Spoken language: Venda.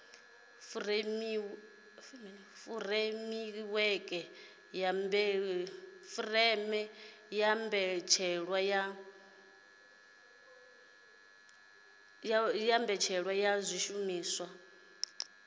furemiweke ya mbetshelwa ya zwishumiswa